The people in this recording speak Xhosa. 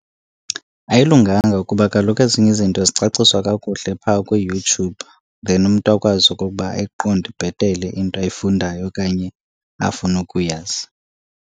Ayilunganga kuba kaloku ezinye izinto zicaciswa kakuhle pha kwiYouTube, then umntu akwazi okokuba ayiqonde bhetele into ayifundayo okanye afuna ukuyazi.